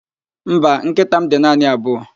Mba, nkịta m dị naanị abụọ